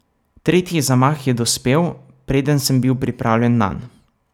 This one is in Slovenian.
Tretji zamah je dospel, preden sem bil pripravljen nanj.